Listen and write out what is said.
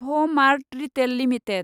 भ mart retail limited